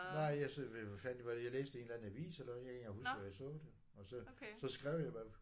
Nej jeg fandt det var det jeg læste det i en eller anden avis eller jeg kan ikke engang huske hvor jeg så det. Og så så skrev jeg